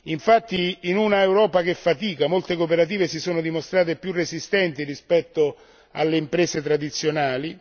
Infatti, in un'Europa che fatica, molte cooperative si sono dimostrate più resistenti rispetto alle imprese tradizionali.